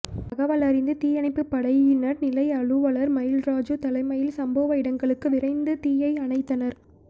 தகவலறிந்த தீயணைப்புப்படையினர் நிலைய அலுவலர் மயில்ராஜு தலைமையில் சம்பவ இடங்களுக்கு விரைந்து தீயை அணைத்தனர்